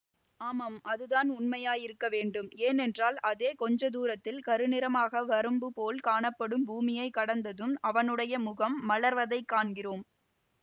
ஆமாம் அதுதான் உண்மையாயிருக்க வேண்டும் ஏனென்றால் அதோ கொஞ்ச தூரத்தில் கருநிறமாக வரம்புபோல் காணப்படும் பூமியைக் கடந்ததும் அவனுடைய முகம் மலர்வதைக் காண்கிறோம்